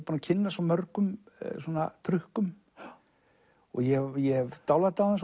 búinn að kynnast svo mörgum trukkum og ég ég hef dálæti á þeim